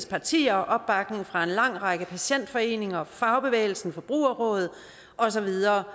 partier og opbakning fra en lang række patientforeninger fagbevægelsen forbrugerrådet og så videre